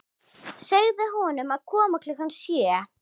Segðu honum að koma klukkan sjö.